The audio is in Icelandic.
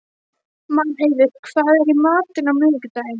Marheiður, hvað er í matinn á miðvikudaginn?